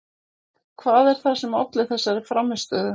Hvað er það sem olli þessari frammistöðu?